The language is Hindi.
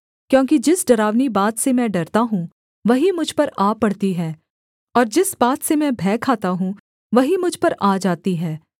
क्योंकि जिस डरावनी बात से मैं डरता हूँ वही मुझ पर आ पड़ती है और जिस बात से मैं भय खाता हूँ वही मुझ पर आ जाती है